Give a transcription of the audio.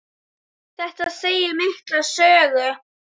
Þetta segir mikla sögu.